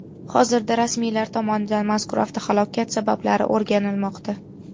Hozirda rasmiylar tomonidan mazkur avtohalokat sabablari o‘rganilmoqda.